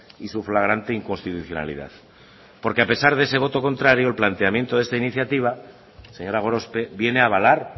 y su flagrante inconstitucionalidad porque a pesar de ese voto contrario el planteamiento de esta iniciativa señora gorospe viene a avalar